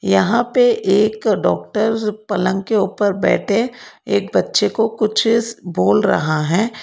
यहां पे एक डॉक्टर पलंग के ऊपर बैठे एक बच्चे को कुछ बोल रहा है।